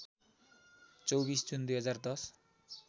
२४ जुन २०१०